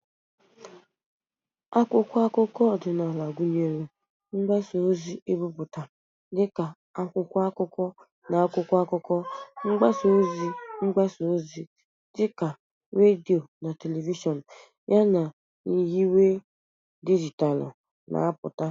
Akwụkwọ akụkọ ọdịnala gụnyere mgbasa ozi ebipụta dị ka akwụkwọ akụkọ na akwụkwọ akụkọ, mgbasa ozi mgbasa ozi dị ka redio na telivishọn, yana nyiwe dijitalụ na-apụta.